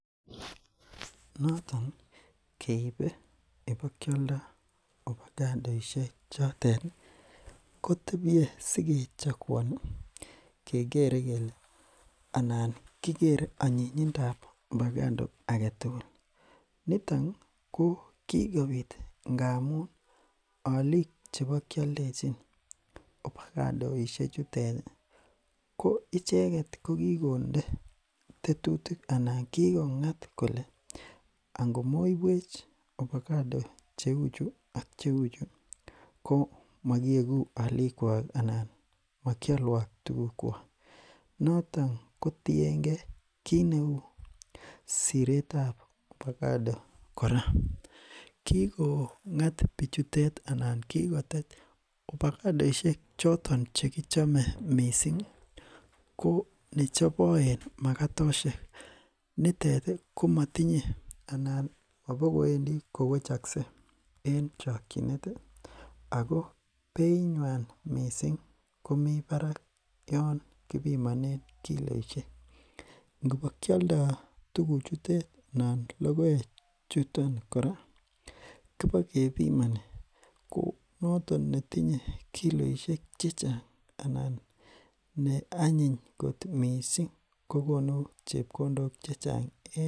notoni keib ipokioldo opagadoishe choteti kotebie sikechakuaoni kekere kele anan kikere anyindo ab opagado agetugul nitoni ko kikobit ngamun olik chebokioldechi opagadoishe chutet koicheket kokikonde tetutik anan kokikongat kole ngomoibwech opagaido cheu chuu ak cheu ko mokiekuu olikwok anan mokiolwok tugukwok noton kotiengee kit neu siretab opagado kora kiko ngat bichutet anan kikotet opagadoishek chotet chekichome misingi konechoboen makatoshek nitet komotinye anan mobokowendi kowechokse mising en chokyinet ako beinywani mising komi barak yoon kipimonen kiloishek ngobo kioldo tuguchutet anan logoek hutet nan logokechuton kora kobo kebimoni konotok netinye kiloeshek chechang anan ne anyiny kot mising kokonu chepkondok chechang